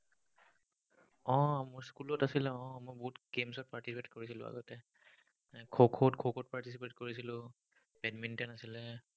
উম মোৰ school ত আছিলে, উম মই বহুত games ত participate কৰিছিলো আগতে। খোখো, খোখোত participate কৰিছিলো। badminton আছিলে।